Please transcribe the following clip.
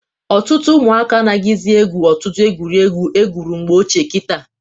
Ọtụtụ ụmụaka anaghịzị egwu ọtụtụ egwuregwu egwuru mgbe ochie kịta.